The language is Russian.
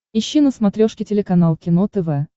ищи на смотрешке телеканал кино тв